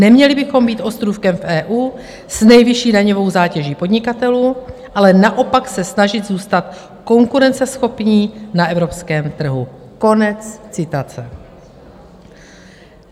Neměli bychom být ostrůvkem v EU s nejvyšší daňovou zátěží podnikatelů, ale naopak se snažit zůstat konkurenceschopní na evropském trhu." Konec citace.